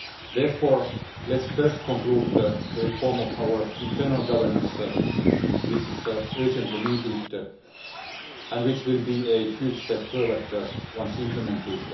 Therefore, let us first conclude the reform of our internal governance, which is urgently needed and which will be a huge step forward once implemented.